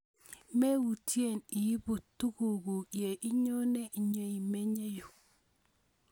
Meutye iipun tuguk kuk ye inyone nyeimenye yu